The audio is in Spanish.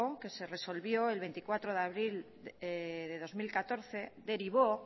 que se resolvió el veinticuatro de abril de dos mil catorce derivó